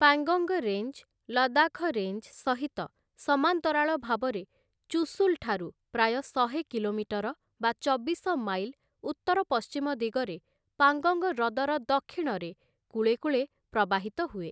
Pangong range, Ladakh range ସହିତ ସମାନ୍ତରାଳ ଭାବରେ ଚୁଶୁଲଠାରୁ ପ୍ରାୟ ଶହେ କିଲୋମିଟର ବା ଚବିଶ ମାଇଲ ଉତ୍ତର ପଶ୍ଚିମ ଦିଗରେ ପାଙ୍ଗଙ୍ଗ ହ୍ରଦର ଦକ୍ଷିଣରେ କୂଳେକୂଳେ ପ୍ରବାହିତ ହୁଏ ।